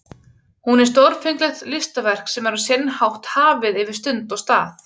Hún er stórfenglegt listaverk sem er á sinn hátt hafið yfir stund og stað.